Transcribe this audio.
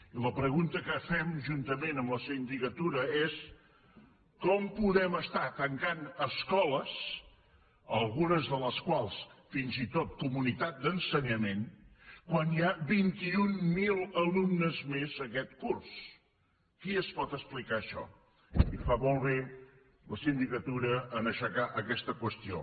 i la pregunta que fem juntament amb la sindicatura és com podem estar tancant escoles algunes de les quals fins i tot comunitats d’ensenyament quan hi ha vint mil alumnes més aquest curs qui es pot explicar això i fa molt bé la sindicatura en aixecar aquesta qüestió